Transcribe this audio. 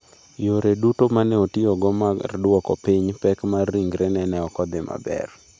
Yore duto ma ne otiyogo mar dwoko piny pek mar ringrene ne ok odhi maber.